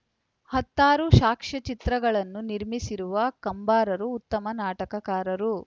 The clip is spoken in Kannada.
ಹತ್ತಾರು ಸಾಕ್ಷ್ಯಚಿತ್ರಗಳನ್ನು ನಿರ್ಮಿಸಿರುವ ಕಂಬಾರರು ಉತ್ತಮ ನಾಟಕಕಾರರು